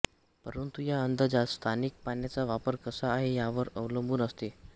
परंतु या अंदाजात स्थानिक पाण्याचा वापर कसा आहे यावर अवलंबुन असते